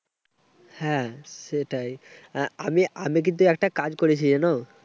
হ্যাঁ, সেটাই। আমি আমি কিন্তু একটা কাজ করেছি, জানো?